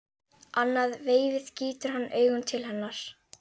Annað veifið gýtur hann augunum til hennar.